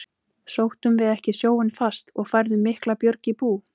Sóttum við ekki sjóinn fast og færðum mikla björg í bú?